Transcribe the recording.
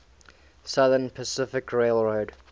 southern pacific railroad